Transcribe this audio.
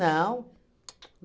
Tsu tsu